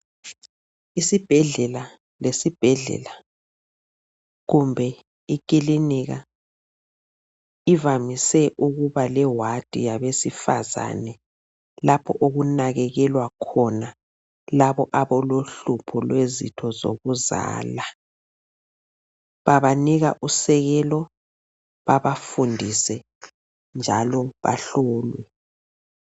Isibhedlela lesibhedlela kumbe ikilinika ivamise ukuba leward yabesifazane lapho okunakekelwa khona labo abalohlupho lwezitho zokuzala. Babanika usekelo babafundise njalo bahlolwe.